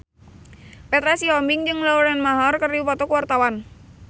Petra Sihombing jeung Lauren Maher keur dipoto ku wartawan